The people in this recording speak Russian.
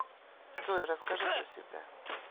джой расскажи про себя